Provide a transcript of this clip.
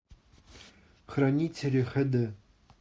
хранители хэ дэ